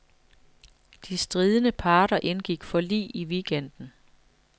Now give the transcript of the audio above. De stridende parter indgik forlig i weekenden.